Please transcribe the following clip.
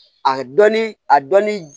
A dɔnni a dɔnni